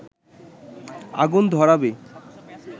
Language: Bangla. আগুন ধরাবি